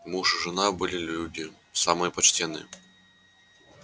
муж и жена были люди самые почтенные